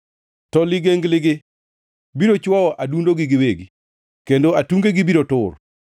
To ligengligi biro chwoyo adundogi giwegi, kendo atungegi biro tur.